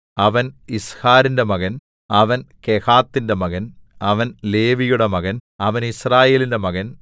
അവൻ യിസ്ഹാരിന്റെ മകൻ അവൻ കെഹാത്തിന്റെ മകൻ അവൻ ലേവിയുടെ മകൻ അവൻ യിസ്രായേലിന്റെ മകൻ